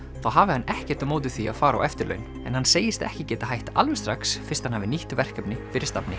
þá hafi hann ekkert á móti því að fara á eftirlaun en hann segist ekki geta hætt alveg strax fyrst hann hafi nýtt verkefni fyrir stafni